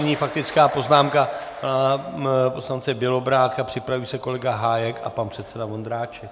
Nyní faktická poznámka poslance Bělobrádka, připraví se kolega Hájek a pan předseda Vondráček.